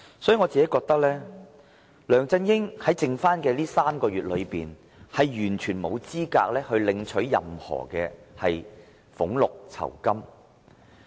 因此，我認為梁振英在餘下的3個月任期，完全沒有資格領取任何俸祿酬金。